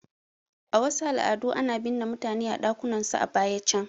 A wasu al'adu ana binne mutane a ɗakunan su a baya can